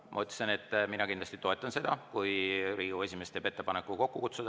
Ma ütlesin, et ma kindlasti toetan seda, kui Riigikogu esimees teeb ettepaneku see kokku kutsuda.